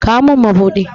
Kawo min mabuɗi!